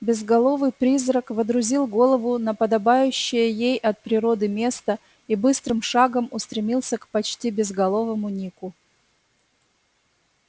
безголовый призрак водрузил голову на подобающее ей от природы место и быстрым шагом устремился к почти безголовому нику